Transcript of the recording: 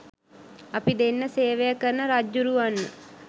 අපි දෙන්න සේවය කරන රජ්ජුරුවන්ව